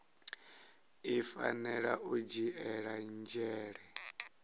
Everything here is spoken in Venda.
i fanela u dzhiela nzhele